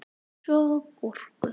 Svo gúrku.